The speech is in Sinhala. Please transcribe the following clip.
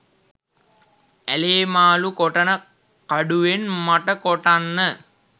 ඇලේ මාළු කොටන කඩුවෙන් මට කොටන්න